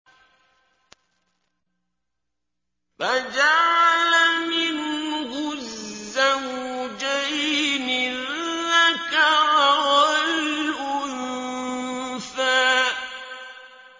فَجَعَلَ مِنْهُ الزَّوْجَيْنِ الذَّكَرَ وَالْأُنثَىٰ